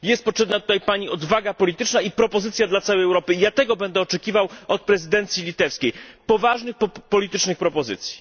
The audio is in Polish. Jest potrzebna tutaj Pani odwaga polityczna i propozycja dla całej Europy i ja tego będę oczekiwał od prezydencji litewskiej poważnych politycznych propozycji.